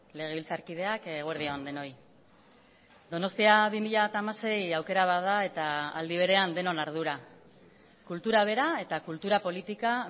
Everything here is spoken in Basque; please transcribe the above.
legebiltzarkideak eguerdi on denoi donostia bi mila hamasei aukera bat da eta aldi berean denon ardura kultura bera eta kultura politika